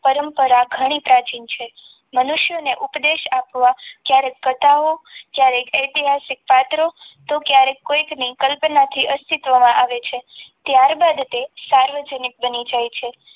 પરંપરા ઘણી પ્રાચીન છે મનુષ્યને ઉપદેશ આપવા ક્યારેક કથાઓ જ્યારે ઐતિહાસિક પાત્રો તો ક્યારેક કોઈકની કલ્પનાથી અસ્તિત્વમાં આવે છે. ત્યારબાદ તે સાર્વજનિક બની જાય છે.